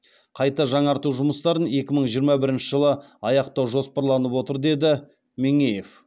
қайта жаңарту жұмыстарын екі мың жиырма бірінші жылы аяқтау жоспарланып отыр деді меңеев